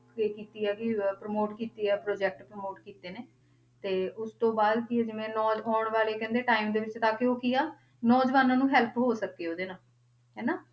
ਕੀ ਕੀਤੀ ਆ ਕਿ ਅਹ promote ਕੀਤੀ ਆ project promote ਕੀਤੇ ਨੇ, ਤੇ ਉਸ ਤੋਂ ਬਾਅਦ ਕੀ ਆ ਜਿਵੇਂ ਨਾਲ ਆਉਣ ਵਾਲੇ ਕਹਿੰਦੇ time ਦੇ ਵਿੱਚ ਤਾਂ ਕਿ ਉਹ ਕੀ ਆ, ਨੌਜਵਾਨਾਂ ਨੂੰ help ਹੋ ਸਕੇ ਉਹਦੇ ਨਾਲ, ਹਨਾ।